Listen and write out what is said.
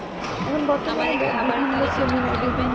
এখন বর্তমানে বিভিন্ন seminar এ দেখবেন